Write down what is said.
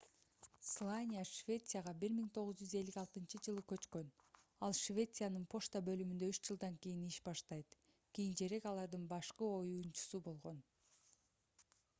слания швецияга 1956-жылы көчкөн ал швециянын почта бөлүмүндө үч жылдан кийин иш баштайт кийинчерээк алардын башкы оюучусу болгон